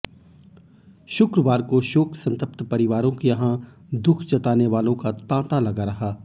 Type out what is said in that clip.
शुक्रवार को शोक संतप्त परिवारों के यहां दुख जताने वालों का तांता लगा रहा